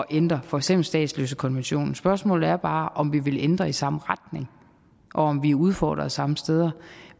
ændre for eksempel statsløsekonventionen spørgsmålet er bare om vi vil ændre i samme retning og om vi er udfordret samme steder